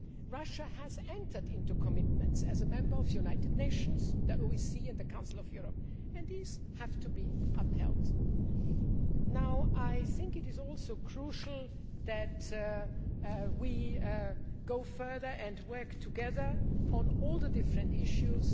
Russia has entered into commitments as a member of the United Nations, the OSCE and the Council of Europe, and these have to be upheld. I think it is also crucial that we go further and work together on all the different issues.